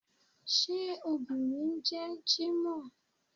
Ṣé obìnrin ń jẹ́ jímọ̀h?